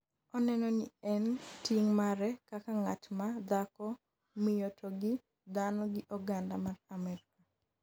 oneno ni en ting' mare kaka ng'at ma ,dhako, miyo to gi dhano gi oganda mar Amerka